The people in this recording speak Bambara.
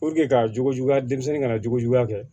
ka jogo juguya denmisɛnnin ka na jogo juguya kɛ